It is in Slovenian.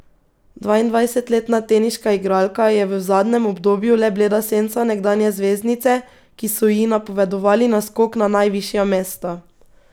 Dvaindvajsetletna teniška igralka je v zadnjem obdobju le bleda senca nekdanje zvezdnice, ki so ji napovedovali naskok na najvišja mesta.